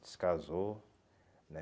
Descasou, né?